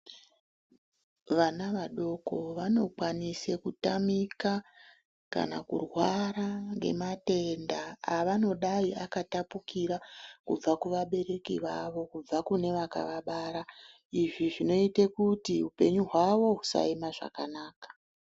Vana vadoko vanokwanisa kutamika kana kurwara ngematenda angadayi akatapukira kubva kuvabereki vavo, kubva kune vakavabara. Izvi zvinoite kuti upenyu hwavo husaema zvakanaka.